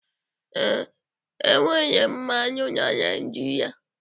Ee, enwere mmanụ na Naijiria